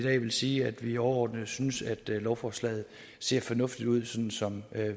sige at vi overordnet synes at lovforslaget ser fornuftigt ud sådan som